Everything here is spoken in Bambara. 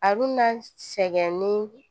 A dunna sɛgɛn ni